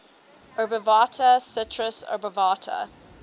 obovata citrus obovata